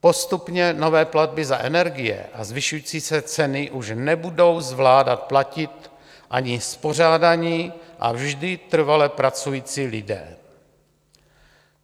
Postupně nové platby za energie a zvyšující se ceny už nebudou zvládat platit ani spořádaní a vždy trvale pracující lidé.